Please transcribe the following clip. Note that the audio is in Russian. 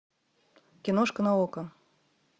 киношка на окко